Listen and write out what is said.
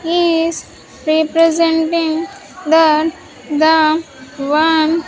is representing that the one --